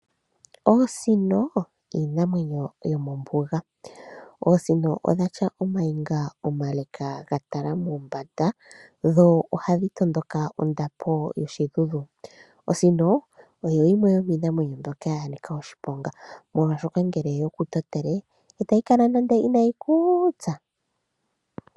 Oosino iinamwenyo yomombuga. Oosino odhina ooniga oonde dhatala mombanda, no hadhi tondoka ondapo yoshidhudhu. Osino oyo yimwe yomiinamwenyo mbyoka yanika oshiponga, oshoka ngele oyeku totele itayi kala inaayi kutsa.